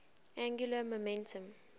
angular momentum